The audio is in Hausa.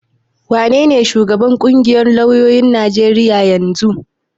Wanene shugaban ƙungiyar lauyoyin Najeriya na yanzu?